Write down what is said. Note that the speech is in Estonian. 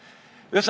Austatud ettekandja!